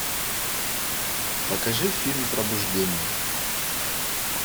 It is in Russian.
покажи фильм пробуждение